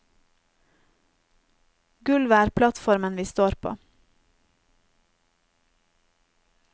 Gulvet er plattformen vi står på.